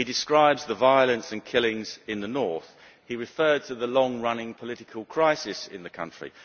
He described the violence and killings in the north and he referred to the long running political crisis in the country.